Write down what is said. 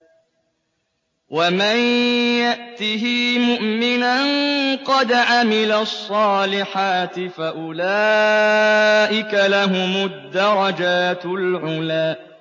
وَمَن يَأْتِهِ مُؤْمِنًا قَدْ عَمِلَ الصَّالِحَاتِ فَأُولَٰئِكَ لَهُمُ الدَّرَجَاتُ الْعُلَىٰ